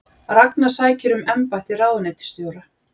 Ragna sækir um embætti ráðuneytisstjóra